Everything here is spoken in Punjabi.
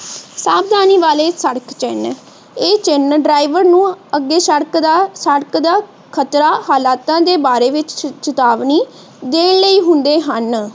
ਸਾਵਧਾਨੀ ਵਾਲੇ ਸੜਕ ਚਿਹਨ ਇਹ ਚਿਹਨ ਨੂੰ ਅੱਗੇ ਸੜਕ ਦਾ ਖਤਰਾ ਹਾਲਾਤਾਂ ਦੇ ਬਾਰੇ ਚੇਤਾਵਨੀ ਦੇਣ ਲਈ ਹੁੰਦੇ ਹਨ।